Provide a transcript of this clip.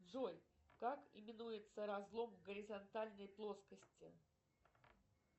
джой как именуется разлом в горизонтальной плоскости